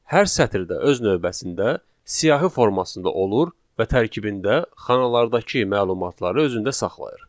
Hər sətir də öz növbəsində siyahı formasında olur və tərkibində xanalardakı məlumatları özündə saxlayır.